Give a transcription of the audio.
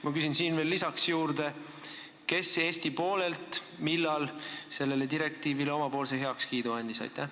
Ma küsin veel siia juurde: kes ja millal Eestist sellele direktiivile oma heakskiidu andis?